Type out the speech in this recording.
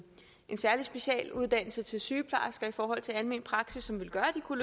særlig specialuddannelse til sygeplejersker i forhold til almen praksis som ville gøre at de kunne